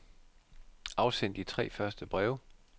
Afsend de tre første breve.